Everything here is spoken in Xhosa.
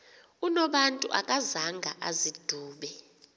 unobantu akazanga azidube